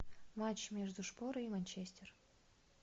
матч между шпорой и манчестер